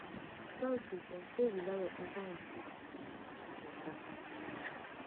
authorities den say di lion enter im cage back after di attack